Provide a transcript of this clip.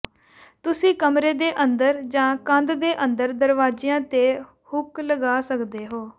ਤੁਸੀਂ ਕਮਰੇ ਦੇ ਅੰਦਰ ਜਾਂ ਕੰਧ ਦੇ ਅੰਦਰ ਦਰਵਾਜ਼ਿਆਂ ਤੇ ਹੁੱਕ ਲਗਾ ਸਕਦੇ ਹੋ